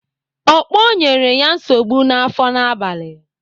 Okpo nyere ya nsogbu n'afọ n'abalị.